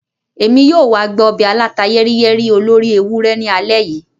Emi yoo wa gba obe aláta-yẹ́riyẹ́rí olóri ewurẹ ni alẹ́ yìí.